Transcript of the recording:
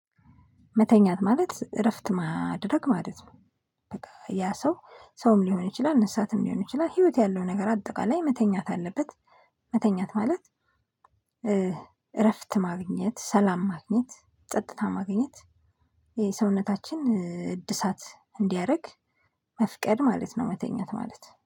መተኛት ማለት እረፍት ማድረግ ማለት ነው። በቃ ያ ሰው ሰውም ሊሆን ይችላል እንሰሳትም ሊሆን ይችላል ህይወት ያለው ነገር አጠቃላይ መተኛት አለበት። መተኛት ማለት እረፍት ማግኘት ሰላም ማግኘት ጸጥታ ማግኘት። የሰውነታችን እድሳት እንዲያረግ መፍቀድ ማለት ነው። መተኛት ማለት